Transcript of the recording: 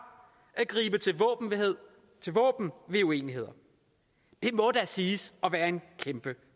at gribe til våben ved uenigheder det må da siges at være en kæmpe